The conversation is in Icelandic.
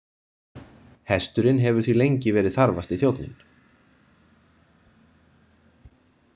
Hesturinn hefur því lengi verið þarfasti þjónninn.